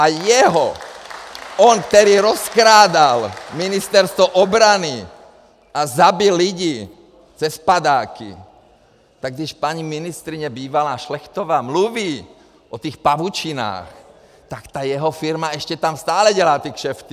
A jeho, on, který rozkrádal Ministerstvo obrany a zabil lidi cez padáky, tak když paní ministryně bývalá Šlechtová mluví o tých pavučinách, tak ta jeho firma eště tam stále dělá ty kšefty.